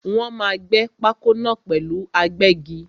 Wọ́n máa gbé pákó náà pẹ̀lú agbẹ́gi.